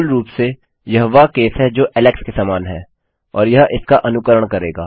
मूलरूप से यह वह केस है जो ऐलेक्स के समान है और यह इसका अनुकरण करेगा